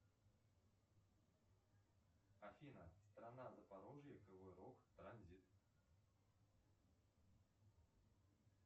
афина страна запорожье кривой рог транзит